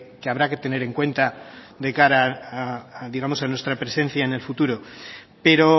que habrá que tener en cuenta de cara a digamos a nuestra presencia en el futuro pero